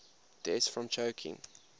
deaths from choking